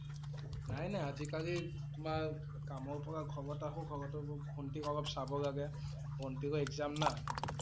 নাই নাই আজি কালি তোমাৰ কামৰ পৰা ঘৰত আহো। ঘৰত আকৌ ভন্তিক অলপ চাব লাগে। ভন্তিৰও exam না